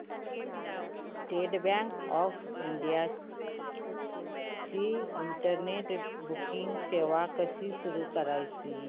state Bank of India ची internet banking सेवा कशी सुरू करायची